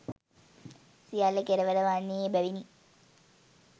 සියල්ල කෙලවර වන්නේ එබැවිනි.